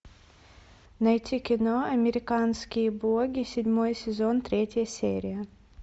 найти кино американские боги седьмой сезон третья серия